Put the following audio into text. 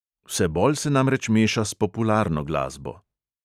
Vse bolj se namreč meša s popularno glasbo.